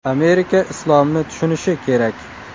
Amerika islomni tushunishi kerak.